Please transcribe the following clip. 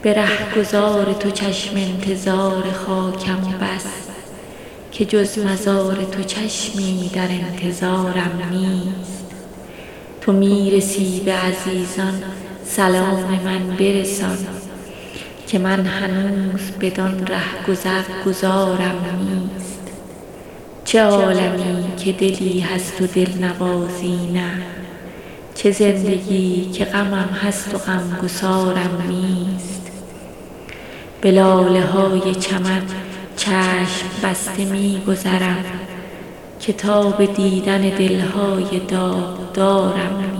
جهان فریب دهد آدمی به نقش و نگار مرا چه نقش فریبنده چون نگارم نیست به رهگذار تو چشم انتظار خاکم و بس که جز مزار تو چشمی در انتظارم نیست تو می رسی به عزیزان سلام من برسان که من هنوز بدان رهگذر گذارم نیست قطار قافله همرهان مرا بگذشت که من بلیت و گذرنامه قطارم نیست چه عالمی که دلی هست و دلنوازی نه چه زندگی که غمم هست و غمگسارم نیست به لاله های چمن چشم بسته می گذرم که تاب دیدن دل های داغدارم نیست غزال من تو چه شاخ نبات بودی حیف که من چو خواجه غزل های شاهکارم نیست ز نام بردن خود نیز شرمم آید و ننگ که شهریارم و آن شعر شهریارم نیست